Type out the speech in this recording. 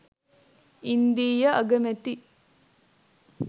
ඉන්දීය අගමැති